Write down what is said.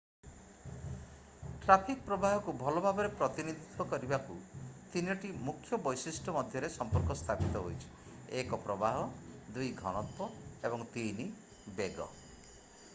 Traffic ପ୍ରବାହକୁ ଭଲ ଭାବରେ ପ୍ରତିନିଧିତ୍ୱ କରିବାକୁ 3ଟି ମୁଖ୍ୟ ବୈଶିଷ୍ଟ୍ୟ ମଧ୍ୟରେ ସମ୍ପର୍କ ସ୍ଥାପିତ ହୋଇଛି: 1 ପ୍ରବାହ 2 ଘନତ୍ଵ ଏବଂ 3 ବେଗ।